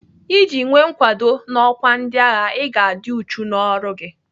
Iji nwee nkwago n'ọkwa ndịagha, Ị ga-adị uchu n'ọrụ gị.